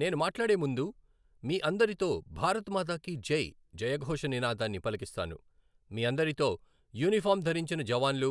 నేను మాట్లాడే ముందు, మీ అందరితో భారత్ మాతాకి జై జయఘోష నినాదాన్ని పలికిస్తాను, మీ అందరితో, యూనిఫార్మ్ ధరించిన జవాన్లు,